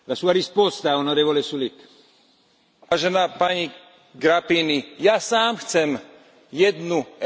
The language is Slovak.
Ja sám chcem jednu Európu, ale takú, ktorá funguje, takú, ktorá prináša občanom slobodu.